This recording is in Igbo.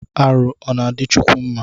Arụ ọna adi kwukwu mma?